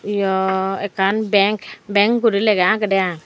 yo ekkan bank bank guri lega agedy i.